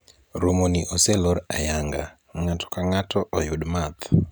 romoni oselor ayanga , ng'ato ka ng'ato oyud math